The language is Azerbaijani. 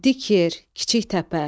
Dik yer, kiçik təpə.